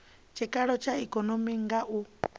tshikalo tsha ikonomi nga u